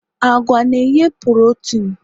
agwa na-enye porotin